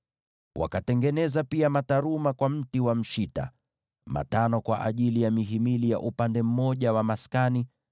Wakatengeneza pia mataruma kwa mti wa mshita: matano kwa ajili ya mihimili ya upande mmoja wa maskani,